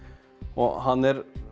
og hann er